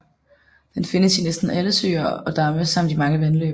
Den findes i næsten alle søer og damme samt i mange vandløb